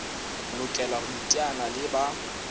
lokela ho iteanya le ba